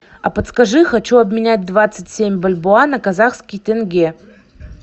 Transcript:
а подскажи хочу обменять двадцать семь бальбоа на казахский тенге